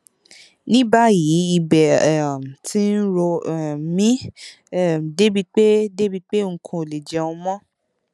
ní báyìí ibẹ um ti ń ro um mí um débi pé débi pé n kò lè jẹun mọ